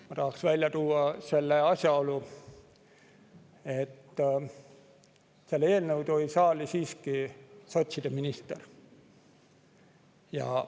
Ma tahaks välja tuua asjaolu, et selle eelnõu tõi saali siiski sotside minister.